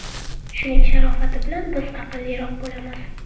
Shuning sharofati bilan biz aqlliroq bo‘lamiz.